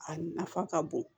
A nafa ka bon